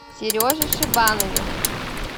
сереже шибанове